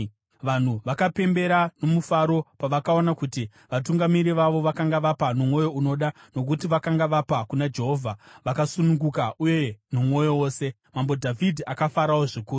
Vanhu vakapembera nomufaro pavakaona kuti vatungamiri vavo vakanga vapa nomwoyo unoda, nokuti vakanga vapa kuna Jehovha vakasununguka uye nomwoyo wose. Mambo Dhavhidhi akafarawo zvikuru.